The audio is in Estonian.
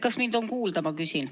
Kas mind on kuulda?